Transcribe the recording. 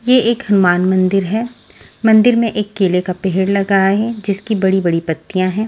ये एक हनुमान मंदिर है मंदिर में एक केले का पेड़ लगा है जिसकी बड़ी बड़ी पत्तियां हैं।